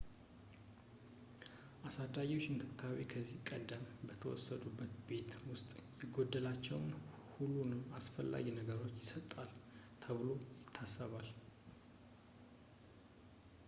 የአሳዳጊዎች እንክብካቤ ከዚህ ቀደም በተወሰዱበት ቤት ውስጥ የጎደላቸውን ሁሉንም አስፈላጊ ነገሮች ይሰጣል ተብሎ ይታሰባል